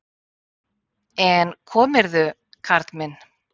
En komirðu, karl minn!